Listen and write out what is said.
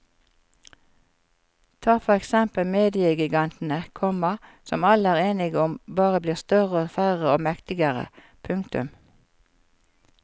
Ta for eksempel mediegigantene, komma som alle er enige om bare blir større og færre og mektigere. punktum